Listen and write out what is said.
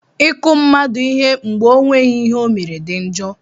I kụ mmadụ ihe mgbe ọ nweghị ihe ọ mere dị njọ.